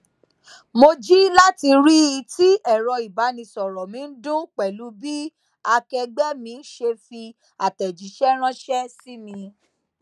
mo ji lati rii ti ẹrọ ibanisọrọ mi n dun pẹlu bi akẹẹgbẹ mi ṣe fi atẹjiṣẹ ranṣẹ si mi